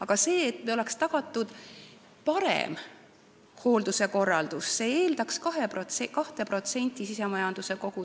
Aga see, et oleks tagatud parem hoolduse korraldus, eeldaks 2% SKT-st.